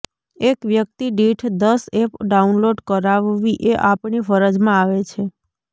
એક વ્યક્તિ દીઠ દસ એપ ડાઉનલોડ કરાવવી એ આપણી ફરજમાં આવે છે